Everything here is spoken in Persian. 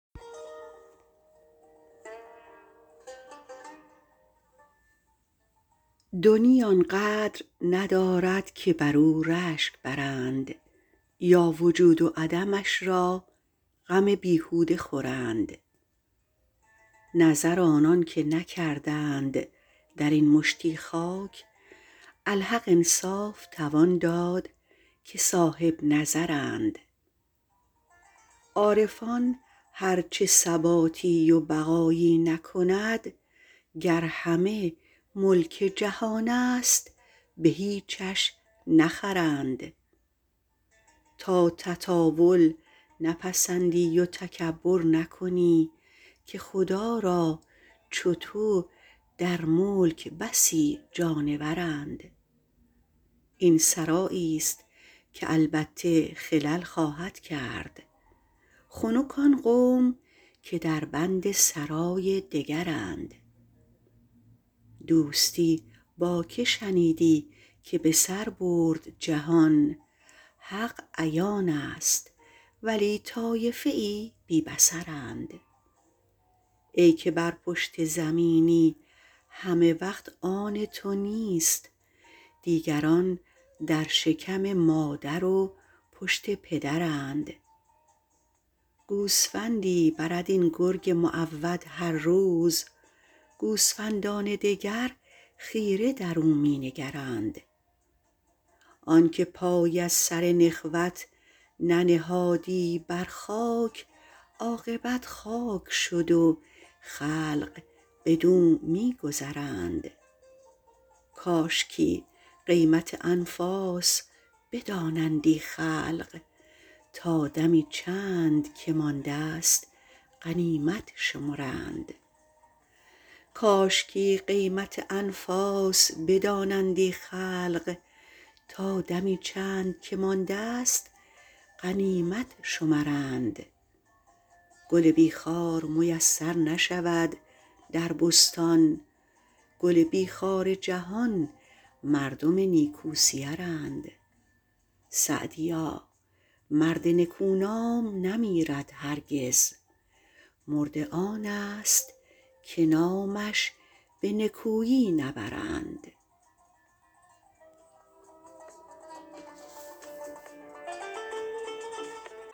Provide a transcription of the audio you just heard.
دنیی آن قدر ندارد که بر او رشک برند یا وجود و عدمش را غم بیهوده خورند نظر آنان که نکردند در این مشتی خاک الحق انصاف توان داد که صاحبنظرند عارفان هر چه ثباتی و بقایی نکند گر همه ملک جهان است به هیچش نخرند تا تطاول نپسندی و تکبر نکنی که خدا را چو تو در ملک بسی جانورند این سراییست که البته خلل خواهد کرد خنک آن قوم که در بند سرای دگرند دوستی با که شنیدی که به سر برد جهان حق عیان است ولی طایفه ای بی بصرند ای که بر پشت زمینی همه وقت آن تو نیست دیگران در شکم مادر و پشت پدرند گوسفندی برد این گرگ معود هر روز گوسفندان دگر خیره در او می نگرند آن که پای از سر نخوت ننهادی بر خاک عاقبت خاک شد و خلق بدو می گذرند کاشکی قیمت انفاس بدانندی خلق تا دمی چند که مانده ست غنیمت شمرند گل بی خار میسر نشود در بستان گل بی خار جهان مردم نیکوسیرند سعدیا مرد نکو نام نمیرد هرگز مرده آن است که نامش به نکویی نبرند